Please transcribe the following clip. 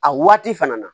A waati fana na